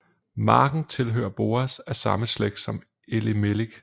Marken tilhører Boaz af samme slægt som Elimelik